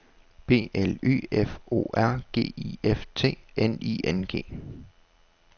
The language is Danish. B L Y F O R G I F T N I N G